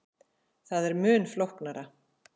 Það er mun flóknara.